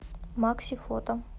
макси фото